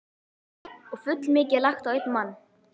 Og fullmikið lagt á einn mann.